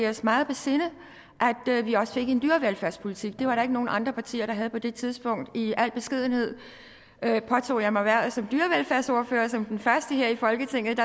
os meget på sinde at vi også fik en dyrevelfærdspolitik det var der ikke nogen andre partier der havde på det tidspunkt i al beskedenhed påtog jeg mig hvervet som dyrevelfærdsordfører som den første her i folketinget